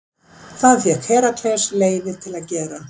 Það fékk Herakles leyfi til að gera.